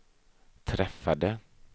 träffade